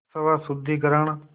स्वशुद्धिकरण